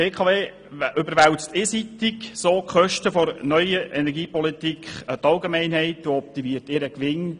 Die BKW überwälzt so die Kosten der neuen Energiepolitik auf die Allgemeinheit und erhöht dadurch ihren Gewinn.